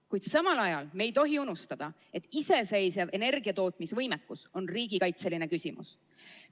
Kuid samal ajal me ei tohi unustada, et võime ise energiat toota on riigikaitseline küsimus.